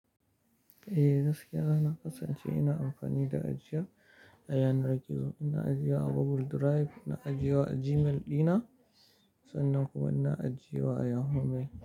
Eh gaskiya na kasance ina amfani da ajiya ɗayan raki. Ina ajiya wa Google Drive, ina ajiya wa Gmail ɗina sannan kuma ina ajiya wa Yahoo Mail.